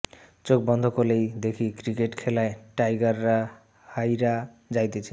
চোখ বন্ধ করলেই দেখি ক্রিকেট খেলায় টাইগাররা হাইরা যাইতাছে